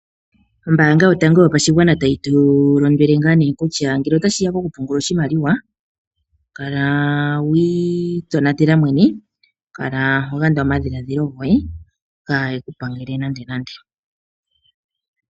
Ombaanga yotango yopashigwana tayi tu lombwele ngaa kutya ngele otashi ya ko ku pungula oshimaliwa, kala wa itonatela mwene, kala ho yanda omadhiladhilo goye, kayi ku pangele nande nande.